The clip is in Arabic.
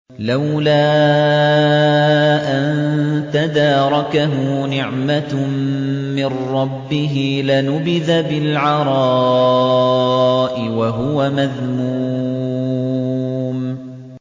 لَّوْلَا أَن تَدَارَكَهُ نِعْمَةٌ مِّن رَّبِّهِ لَنُبِذَ بِالْعَرَاءِ وَهُوَ مَذْمُومٌ